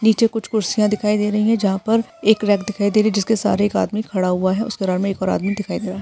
नीचे कुछ कुर्सिया दिखाई दे रही है जहा पर एक रैक दिखाई दे रही जिसके सहारे एक आदमी खड़ा हुआ है उस मे एक और आदमी दिखाई दे रहा।